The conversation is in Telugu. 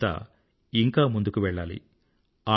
వీరంతా ఇంకా ముందుకు వెళ్లాలి